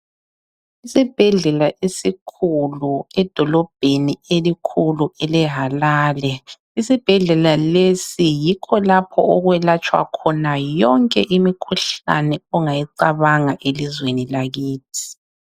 Isibhedlela esikhulu edolobheni elikhulu eleHalale. Isibhedlela lesi yikho lapho okwelatshwa khona yonke imikhuhlane ongayicabanga elizweni lakithi.